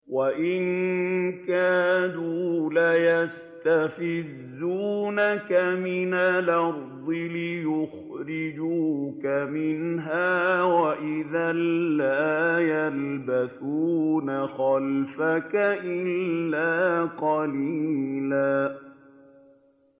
وَإِن كَادُوا لَيَسْتَفِزُّونَكَ مِنَ الْأَرْضِ لِيُخْرِجُوكَ مِنْهَا ۖ وَإِذًا لَّا يَلْبَثُونَ خِلَافَكَ إِلَّا قَلِيلًا